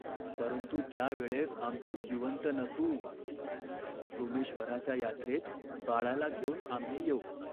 "परंतु त्या वेळेस आम्ही जिवंत नसू." "सोमेश्वराच्या यात्रेत बाळाला घेऊन आम्ही येऊ.